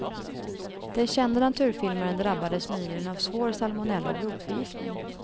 Den kände naturfilmaren drabbades nyligen av svår salmonella och blodförgiftning.